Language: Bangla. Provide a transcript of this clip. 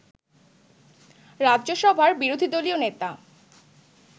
রাজ্যসভার বিরোধীদলীয় নেতা